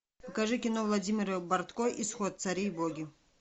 покажи кино владимира бортко исход цари и боги